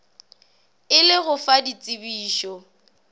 e le go fa ditsebišo